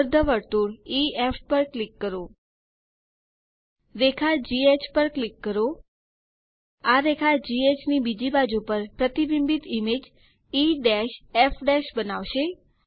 અર્ધવર્તુળ E F પર click કરો રેખા ઘ પર ક્લિક કરો આ રેખા ઘ ની બીજી બાજુ પર પ્રતિબિંબિત ઈમેજ ઇએફ બનાવશે